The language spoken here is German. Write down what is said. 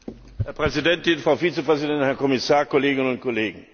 Herr Präsident, Frau Vizepräsidentin, Herr Kommissar, Kolleginnen und Kollegen!